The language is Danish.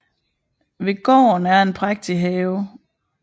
Ved gården er en prægtig have